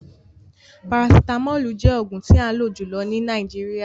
Parasitamolu jẹ oogun ti an lo julọ ni Nàìjíríà